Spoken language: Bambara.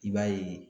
I b'a ye